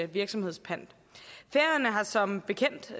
virksomhedspant færøerne har som bekendt